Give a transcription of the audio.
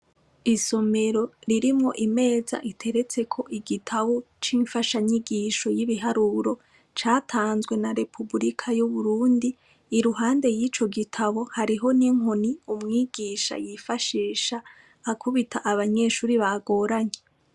Isomero ririmwo imeza iterertseko igitabo c'imfashanyigisho y'ibiharuro catanzwe na repubilika y'uburundi, iruhande y'ico gitabo hariho n'inkoni umwigisha yifashisha kubita abanyeshuri bagoranye.